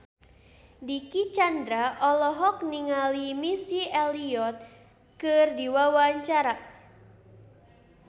Dicky Chandra olohok ningali Missy Elliott keur diwawancara